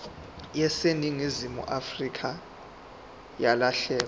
yaseningizimu afrika yalahleka